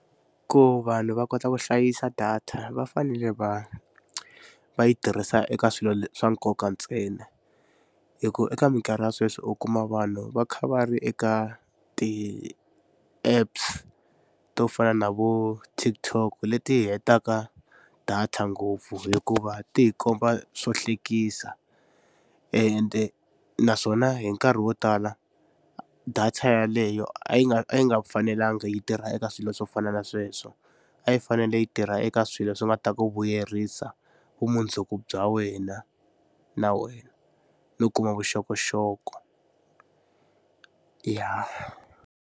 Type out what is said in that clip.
Ku vanhu va kota ku hlayisa data va fanele va va yi tirhisa eka swilo swa nkoka ntsena hi ku eka mikarhi ya sweswi u kuma vanhu va kha va ri eka ti-apps to fana na vo TikTok leti hetaka data ngopfu hikuva ti hi komba swo hlekisa ende naswona hi nkarhi wo tala data yaleyo a yi nga a yi nga fanelangi yi tirha eka swilo swo fana na sweswo a yi fanele yi tirha eka swilo swi nga ta ku vuyerisa vumundzuku bya wena na wena no kuma vuxokoxoko ya.